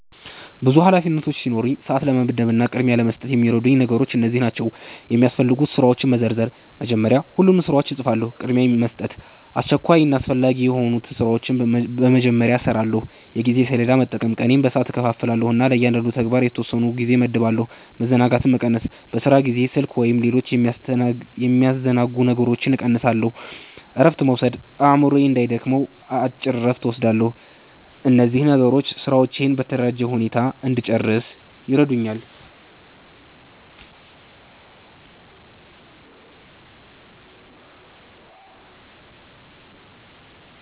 ብዙ ኃላፊነቶች ሲኖሩኝ፣ ሰዓትን ለመመደብ እና ቅድሚያ ለመስጠት የሚረዱኝ ነገሮች እነዚህ ናቸው፦ የሚያስፈልጉ ስራዎችን መዘርዘር – መጀመሪያ ሁሉንም ስራዎች እጽፋለሁ። ቅድሚያ መስጠት – አስቸኳይና አስፈላጊ የሆኑትን ስራዎች በመጀመሪያ እሰራለሁ። የጊዜ ሰሌዳ መጠቀም – ቀኔን በሰዓት እከፋፍላለሁ እና ለእያንዳንዱ ተግባር የተወሰነ ጊዜ እመድባለሁ። መዘናጋትን መቀነስ – በስራ ጊዜ ስልክ ወይም ሌሎች የሚያስተናግዱ ነገሮችን እቀንሳለሁ። እረፍት መውሰድ – አእምሮዬ እንዳይደክም አጭር እረፍት እወስዳለሁ። እነዚህ ነገሮች ስራዎቼን በተደራጀ ሁኔታ እንድጨርስ ይረዱኛል።